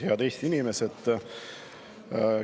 Head Eesti inimesed!